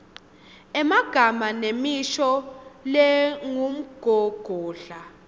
emagama nemisho lengumgogodla